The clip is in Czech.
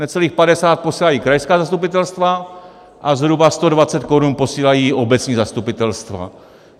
Necelých 50 posílají krajská zastupitelstva a zhruba 120 korun posílají obecní zastupitelstva.